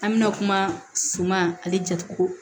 An bɛna kuma suma ale jatuguko